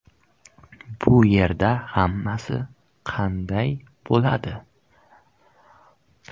Bu yerda hammasi qanday bo‘ladi?